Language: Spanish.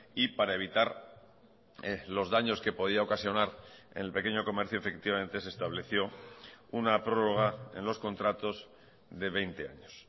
y para evitar los daños que podía ocasionar en el pequeño comercio efectivamente se estableció una prórroga en los contratos de veinte años